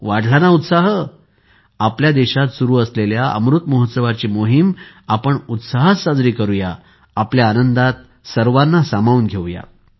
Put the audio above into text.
वाढला ना उत्साह आपल्या देशात सुरु असलेल्या अमृत महोत्सवाची मोहीम उत्साहात साजरी करूया आपल्या आनंदात सर्वांना सामावून घेऊ या